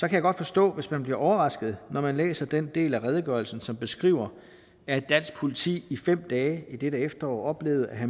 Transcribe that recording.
jeg godt forstå hvis man bliver overrasket når man læser den del af redegørelsen som beskriver at dansk politi i fem dage i dette efterår oplevede at